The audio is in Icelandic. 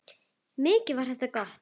Mikið var það gott.